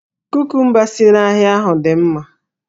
Kukumba si n'ahịa ahụ dị mma